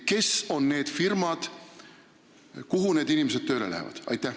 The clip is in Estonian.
Millised on need firmad, kuhu need inimesed tööle läheksid?